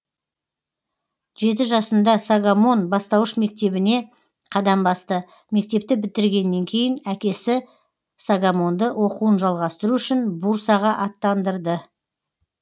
жеті жасында согомон бастауыш мектебіне қадам басты мектепті бітіргеннен кейін әкесі согомонды оқуын жалғастыру үшін бурсаға аттандырды